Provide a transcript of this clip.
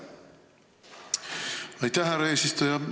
Aitäh, härra eesistuja!